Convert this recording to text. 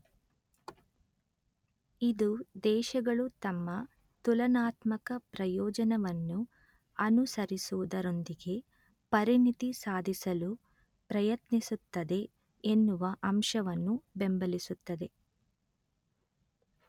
ಇದು ದೇಶಗಳು ತಮ್ಮ ತುಲನಾತ್ಮಕ ಪ್ರಯೋಜನವನ್ನು ಅನುಸರಿಸುವುದರೊಂದಿಗೆ ಪರಿಣಿತಿ ಸಾಧಿಸಲು ಪ್ರಯತ್ನಿಸುತ್ತದೆ ಎನ್ನುವ ಅಂಶವನ್ನು ಬೆಂಬಲಿಸುತ್ತದೆ